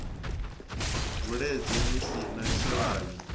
bvuledze ni si na tshilavhi